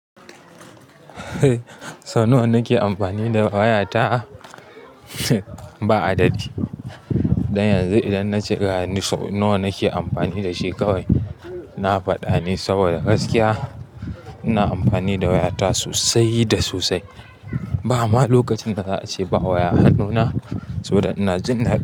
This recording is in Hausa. Nawa nake amfani da waya ta? Ba adadi. Don yanzu idan na ce ga ni so nawa nake amfani da shi kawai, na faɗa ne saboda gaskiya. Ina amfani da waya ta sosai da sosai. Ba ama lokacin da za a ce ba waya hannuna saboda ina jinn.